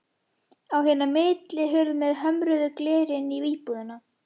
Á hina millihurð með hömruðu gleri inn í íbúðina.